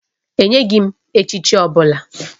E nyeghị m echichi ọ bụla